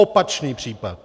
Opačný případ.